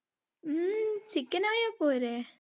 ഉം chicken ആയാ പോരേ?